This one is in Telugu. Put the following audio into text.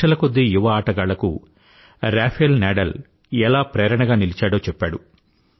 లక్షల కొద్దీ యువ ఆటగాళ్ళకు రఫేల్ నడాల్ ఎలా ప్రేరణగా నిలిచాడో చెప్పాడు